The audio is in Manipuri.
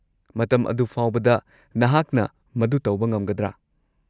ꯃꯇꯝ ꯑꯗꯨ ꯐꯥꯎꯕꯗ ꯅꯍꯥꯛꯅ ꯃꯗꯨ ꯇꯧꯕ ꯉꯝꯒꯗ꯭ꯔꯥ?